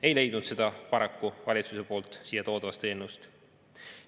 Ei leidnud seda paraku valitsuse siia toodud eelnõust.